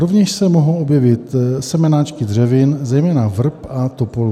Rovněž se mohou objevit semenáčky dřevin, zejména vrb a topolů.